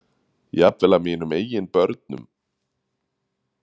Jafnvel af mínum eigin börnum.